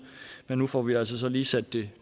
men nu får vi altså lige sat det